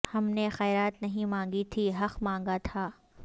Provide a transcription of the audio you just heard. ہم نے خیرات نہیں مانگی تھی حق مانگا تھا